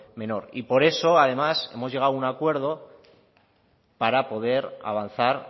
menor y por eso además hemos llegado a un acuerdo para poder avanzar